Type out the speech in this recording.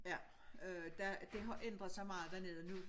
Ja øh der det har ændret sig meget dernede nu